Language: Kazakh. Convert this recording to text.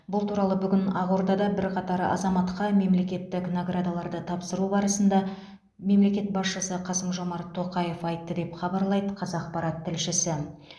бұл туралы бүгін ақордада бірқатар азаматқа мемлекеттік наградаларды тапсыру барысында мемлекет басшысы қасым жомарт тоқаев айтты деп хабарлайды қазақпарат тілшісі